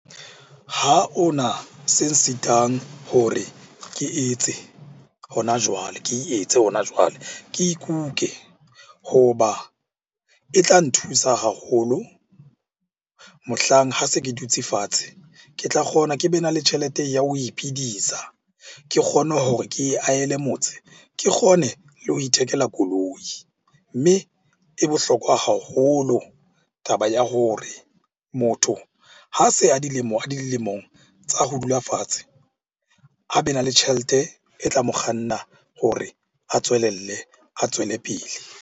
Ha o na se nsitang hore ke etse hona jwale, ke e etse hona jwale. Ke ikuke, ho ba e tla nthusa haholo mohlang ha se ke dutse fatshe. Le tla kgona ke be na le tjhelete ya ho iphidisa. Ke kgone hore ke e ahele motse, ke kgone le ho ithekela koloi. Mme e bohlokwa haholo taba ya hore motho ha se a le dilemong tsa ho dula fatshe, a be na le tjhelete e tla mo kganna hore a tswelelle, a tswele pele.